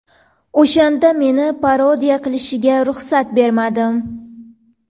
O‘shanda meni parodiya qilishiga ruxsat bermadim.